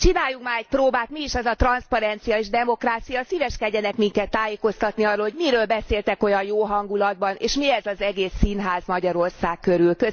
Csináljunk már egy próbát, mi is az a transzparencia és demokrácia, szíveskedjenek minket tájékoztatni arról, hogy miről beszéltek olyan jó hangulatban, és mi ez az egész színház Magyarország körül.